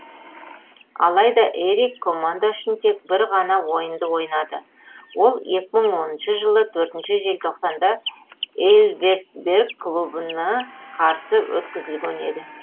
алайда эрик команда үшін тек бір ғана ойынды ойнады ол екі мың оныншы жылы төртінші желтоқсанда эльверсберг клубына қарсы өткізілген еді